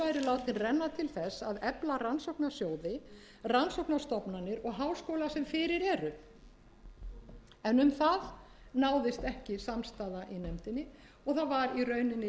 að renna til þess að efla rannsóknarsjóði rannsóknarstofnanir og háskóla sem fyrir eru en um það náðist ekki samstaða í nefndinni og það var í rauninni